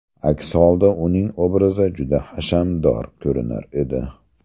Aks holda uning obrazi juda hashamdor ko‘rinar edi.